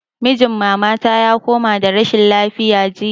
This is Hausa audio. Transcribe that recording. Mijin mama ta ya kamu da rashin lafiya jiya